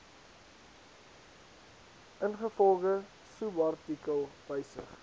ingevolge subartikel wysig